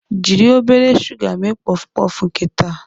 Jiri obere shuga mee pọfpọf nke taa.